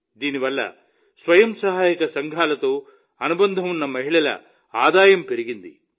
దీని వల్ల స్వయం సహాయక సంఘాలతో అనుబంధం ఉన్న ఈ మహిళల ఆదాయం పెరిగింది